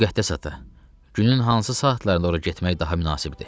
Müqəddəs ata, günün hansı saatlarında ora getmək daha münasibdir?